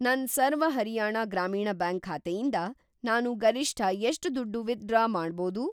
ನನ್‌ ಸರ್ವ ಹರಿಯಾಣ ಗ್ರಾಮೀಣ ಬ್ಯಾಂಕ್ ಖಾತೆಯಿಂದ ನಾನು ಗರಿಷ್ಠ ಎಷ್ಟ್‌ ದುಡ್ಡು ವಿತ್‌ಡ್ರಾ ಮಾಡ್ಬೋದು?